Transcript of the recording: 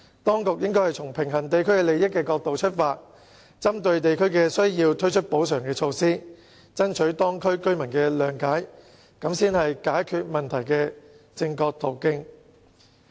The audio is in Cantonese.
當局應該從平衡地區利益的角度出發，針對地區需要推出補償措施，以爭取當區居民的諒解，這才是解決問題的正確途徑。